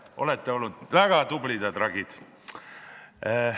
Olete olnud väga tublid ja tragid.